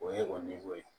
O ye o ye